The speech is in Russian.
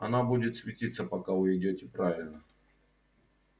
она будет светиться пока вы идёте правильно